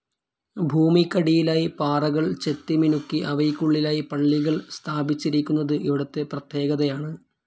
ഭൂമിക്കടിയിലായി പാറകൾ ചെത്തിമിനുക്കി അവയ്ക്കുള്ളിലായി പള്ളികൾ സ്ഥാപിച്ചിരിക്കുന്നത് ഇവിടുത്തെ പ്രത്യേകതകയാണ്.